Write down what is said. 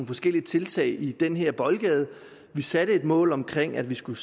forskellige tiltag i den her boldgade vi satte et mål omkring at vi skulle